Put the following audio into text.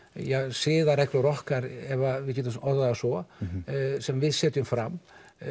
siðareglur okkar ef við getum orðað það svo sem við setjum fram